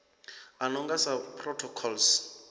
a no nga sa protocols